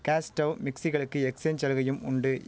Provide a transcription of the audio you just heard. cos டைவ் மிக்ஸிகளுக்கு exchange சலுகையும் உண்டு